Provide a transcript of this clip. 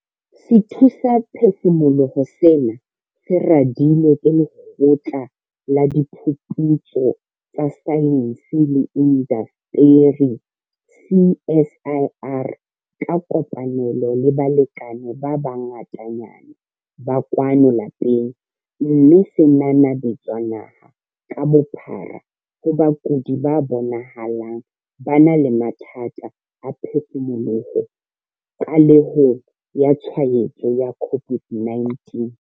Sethusaphefumoloho sena se radilwe ke Lekgotla la Diphuputso tsa Saense le Indasteri CSIR ka kopanelo le balekane ba bangatanyana ba kwano lapeng, mme se nanabetswa naha ka bophara ho bakudi ba bonahalang ba na le mathata a phefumoloho qalehong ya tshwaetso ya COVID-19.